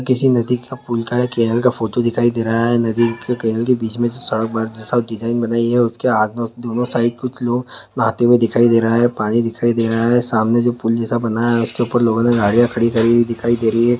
किसी नदी का पुल का किनारे का फोटो दिखाई दे रहा हैं नदी के किनारे बीच सड़क बार जैसा में डिज़ाइन बनाई हैं उसके हाथ में दोनों साइड कुछ लोग नहाते हुए दिखाई दे रहा हैं पानी दिखाई दे रहा हैं सामने जो पुल जैसा बना हैं उसके ऊपर लोगों ने गाड़ियां खड़ी करी हुई दिखाई दे रही हैं।